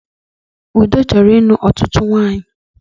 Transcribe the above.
Ude chọrọ ịlụ ọtụtụ nwanyị